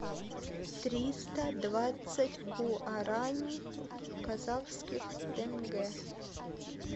триста двадцать гуарани в казахских тенге